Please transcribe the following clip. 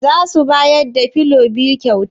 Zasu bayar da filon biyu kyauta?